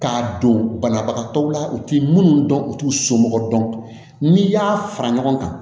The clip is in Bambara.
K'a don banabagatɔw la u t'i munnu dɔn u t'u somɔgɔ dɔn n'i y'a fara ɲɔgɔn kan